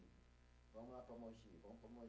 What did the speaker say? Vamos lá para Mogi, vamos para Mogi.